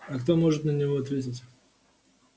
а кто может на него ответить